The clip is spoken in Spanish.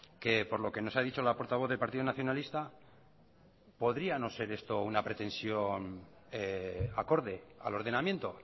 que por lo que nos ha dicho la portavoz del partido nacionalista podría no ser esto una pretensión acorde al ordenamiento